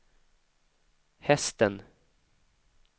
hästen